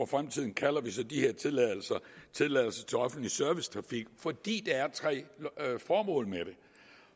fremtiden kalder vi så de her tilladelser tilladelse til offentlig servicetrafik fordi der er tre formål med det